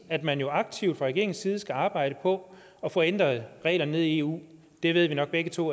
at man jo aktivt fra regeringens side skal arbejde på at få ændret reglerne nede i eu det ved vi nok begge to